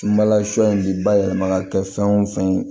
in bi bayɛlɛma ka kɛ fɛn wo fɛn ye